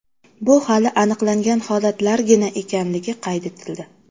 Bu hali aniqlangan holatlargina ekanligi qayd etildi.